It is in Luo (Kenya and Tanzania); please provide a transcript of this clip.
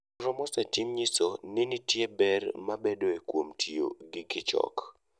Nonro mosetim nyiso ni nitie ber mabedoe kuom tiyo gikichok.